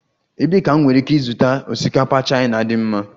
Ebee ka m nwere ike ịzụta osikapa Chaina dị mma?